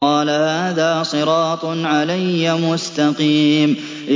قَالَ هَٰذَا صِرَاطٌ عَلَيَّ مُسْتَقِيمٌ